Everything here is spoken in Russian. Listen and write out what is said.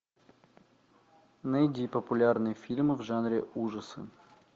найди популярные фильмы в жанре ужасы